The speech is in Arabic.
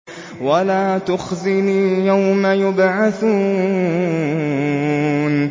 وَلَا تُخْزِنِي يَوْمَ يُبْعَثُونَ